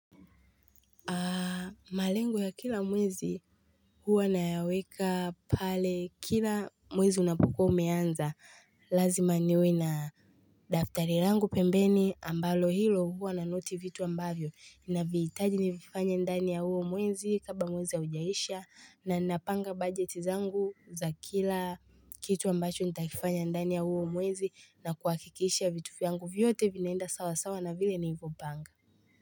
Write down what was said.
Malengo ya kila mwezi huwa nayaweka pale kila mwezi unapukua umeanza lazima niwe na daftari langu pembeni ambalo hilo huwa nanoti vitu ambavyo navihitaji nivifanye ndani ya huo mwezi kabla mwezi haujaisha na ninapanga bajeti zangu za kila kitu ambacho nitaifanya ndani ya huo mwezi na kuhakikisha vitu vyangu vyote vinaenda sawa sawa na vile nilivyopanga.